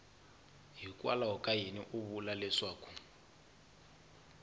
ka yini u vula leswaku